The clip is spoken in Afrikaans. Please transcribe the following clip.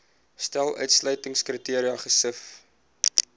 stel uitsluitingskriteria gesif